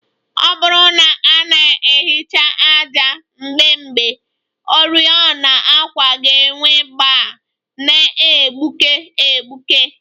Ọ bụrụ na a na-ehicha ájá mgbe mgbe, oriọna àkwà ga-enwu gbaa na-egbuke egbuke